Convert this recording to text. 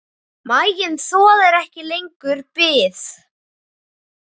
Maginn þolir ekki lengur bið.